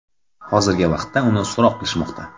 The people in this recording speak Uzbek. Hozirgi vaqtda uni so‘roq qilishmoqda.